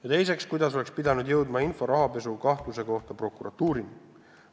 " Ja teiseks: "Kuidas oleks pidanud jõudma info rahapesukahtluse kohta prokuratuurini?